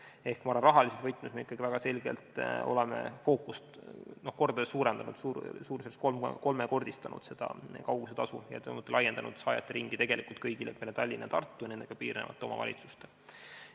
Ehk ma arvan, et rahalises võtmes me oleme ikkagi väga selgelt fookusesse seadnud ja kordades suurendanud, suurusjärgus kolmekordistanud seda kaugusetasu, samuti laiendanud saajate ringi tegelikult kõigile peale Tallinna ja Tartu ja nendega piirnevate omavalitsuste.